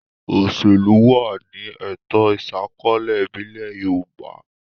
òṣèlú wà ní ètò ìṣàkóso ìbílẹ̀ Yorùbá.